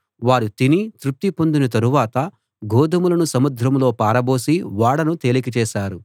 వారు తిని తృప్తి పొందిన తరువాత గోదుమలను సముద్రంలో పారబోసి ఓడను తేలిక చేశారు